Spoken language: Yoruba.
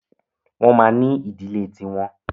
Wọ́n ma ní ìdílé ti wọn.